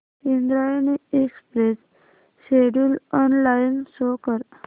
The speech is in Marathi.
Indrayani express schedule online show कर